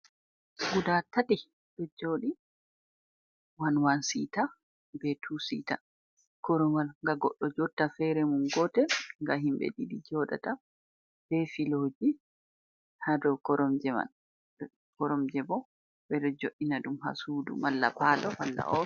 Gudatati do jooɗi wan, wan siita be tuu siita korowal ga goddo jotta fere mum. gotel ga himbe ɗiɗi jooɗata be filoji ha koromje man, koromje bo ɓe do joj' ina ɗum ha Suudu malla palo malla offis.